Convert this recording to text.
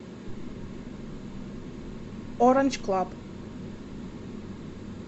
оранж клаб